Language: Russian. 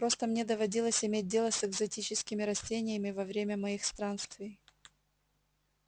просто мне доводилось иметь дело с экзотическими растениями во время моих странствий